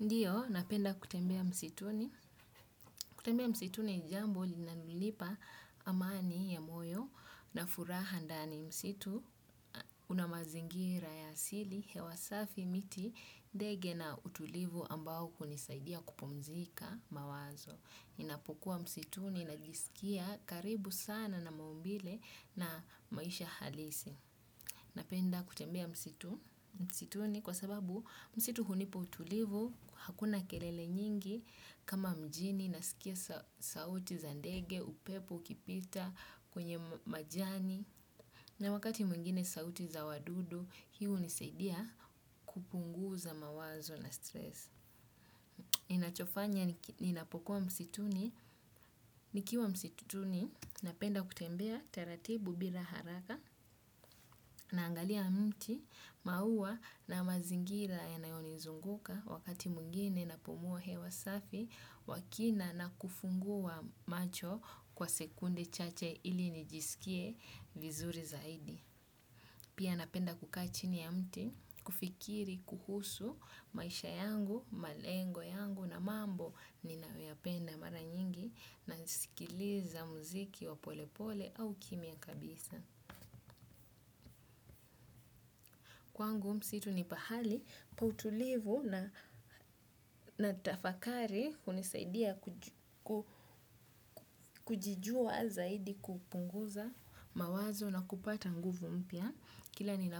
Ndiyo, napenda kutembea msituni. Kutembea msitunini jambo li nalonipa amani ya moyo na furaha ndani msitu. Una mazingira ya asili, hewasafi miti, ndege na utulivu ambao kunisaidia kupumzika mawazo. Ninapokuwa msituni, najisikia karibu sana na maumbile na maisha halisi. Napenda kutembea msitu, msitu ni kwa sababu msitu hunipa utulivu, hakuna kelele nyingi kama mjini, nasikia sauti za ndege, upepo, ukipita, kwenye majani, na wakati mwingine sauti za wadudu, hiihu nisaidia kupunguza mawazo na stress. Ninachofanya ninapokuwa msituni, nikiwa msituni napenda kutembea taratibu bila haraka na angalia mti maua na mazingira yanayoni nzunguka wakati mwingine napumua hewa safi wakina na kufungua macho kwa sekunde chache ili nijisikie vizuri zaidi. Pia napenda kukaachini ya mti, kufikiri, kuhusu, maisha yangu, malengo yangu na mambo ni nayopenda mara nyingi na nisikiliza muziki wa pole pole au kimia kabisa. Kwa ngu msitu ni pahali, pautulivu na natafakari hunisaidia kujijua zaidi kupunguza mawazo na kupata nguvu mpya. Kila ni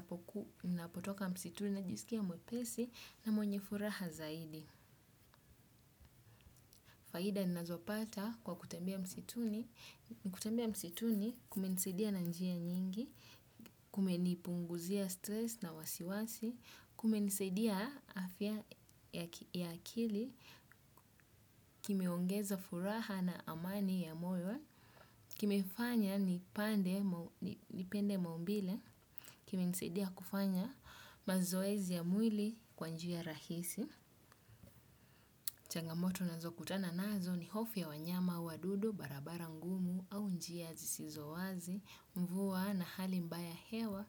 napotoka msituni na jisikia mwepesi na mwenye furaha zaidi. Faida ni nazopata kwa kutembea msituni. Kutembea msituni kumenisaidia na njia nyingi, kumenipunguzia stress na wasiwasi, kume nisaidia afya ya akili kimeongeza furaha na amani ya moyo. Kimefanya ni pande, ni pende maumbile. Kime nisaidia kufanya mazoezi ya mwili kwanjia rahisi. Changamoto nazo kutana nazo ni hofuya wanyama, wadudu, barabara ngumu au njia zisizo wazi. Mvua na hali mbaya hewa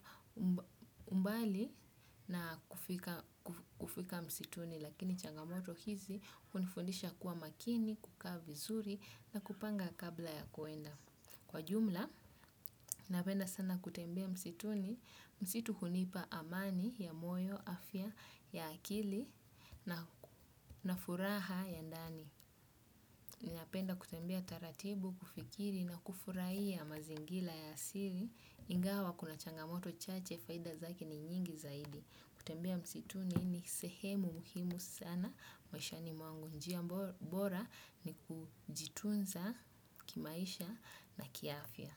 umbali na kufika msituni lakini changamoto hizi hunifundisha kuwa makini, kukaa vizuri na kupanga kabla ya kwenda. Kwa jumla, napenda sana kutembea msituni, msitu hunipa amani ya moyo, afya, ya akili na furaha ya ndani. Napenda kutembea taratibu, kufikiri na kufurahia mazingira ya asili, ingawa kuna changamoto chache, faida zake ni nyingi zaidi. Kutembea msituni ni sehemu muhimu sana, maisha ni mwangu njia bora ni kujitunza kimaisha na kiafya.